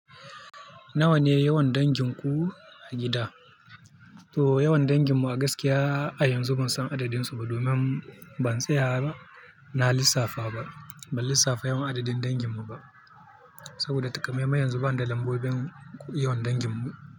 Nawa ne yawan dangin ku a gida? To yawan dangin mu a gaskiya a yanzu ban san adadin su ba domin ban tsaya ba, na lissafa ba, ban lissafa yawan adadin dangin mu ba. Saboda takamaiman yanzu bani da lambobin yawan dangin mu.